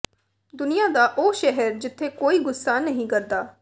ਦੁਨੀਆਂ ਦਾ ਉਹ ਸ਼ਹਿਰ ਜਿੱਥੇ ਕੋਈ ਗੁੱਸਾ ਨਹੀਂ ਕਰਦਾ